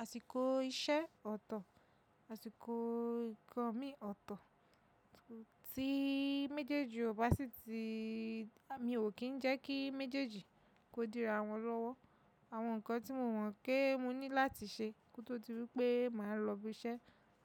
Àsìkò iṣẹ́ ọ̀tọ̀, àsìkò ǹkan mi ọ̀tọ̀ tí méjèèjì ò bá sí ti, àmi ò kí ń jẹ́ kí méjèèjì kó dira wọn lọ́wọ́. Àwọn nǹkan tí mo mọ̀ pé mo ní láti ṣe kó tó di wí pé màá lọ bi iṣẹ́,